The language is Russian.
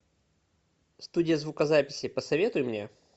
студия звукозаписи посоветуй мне